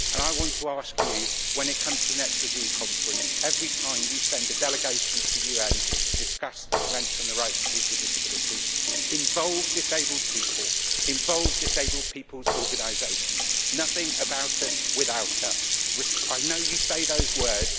I want to ask you, when it comes to the next review conference, every time you send a delegation to the UN to discuss the Convention on the Rights of People with Disabilities, to involve disabled people, involve disabled people's organisations nothing about us without us. I know you say those words.